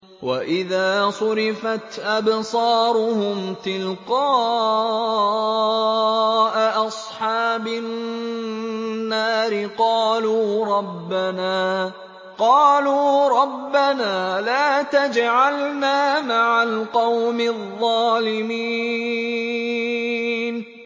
۞ وَإِذَا صُرِفَتْ أَبْصَارُهُمْ تِلْقَاءَ أَصْحَابِ النَّارِ قَالُوا رَبَّنَا لَا تَجْعَلْنَا مَعَ الْقَوْمِ الظَّالِمِينَ